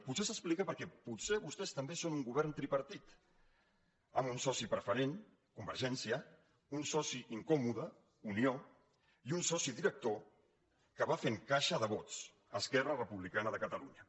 potser s’explica perquè potser vostès també són un govern tripartit amb un soci preferent convergència un soci incòmode unió i un soci director que va fent caixa de vots esquerra republicana de catalunya